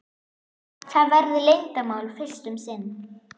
Það verður leyndarmál fyrst um sinn.